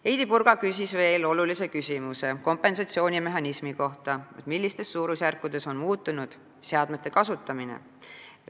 Heidy Purga küsis veel kompensatsioonimehhanismi kohta, nimelt, millistes suurusjärkudes on muutunud seadmete kasutamine.